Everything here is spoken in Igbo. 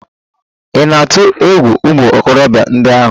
Ị̀ na-atụ egwu ụmụ okorobịa ndị ahụ?